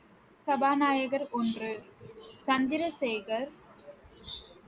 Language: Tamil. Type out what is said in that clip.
சபாநாயகர் ஒன்று, சந்திரசேகர்